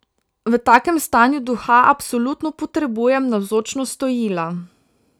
V takem stanju duha absolutno potrebujem navzočnost Stojila.